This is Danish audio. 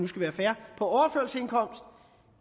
skal være fair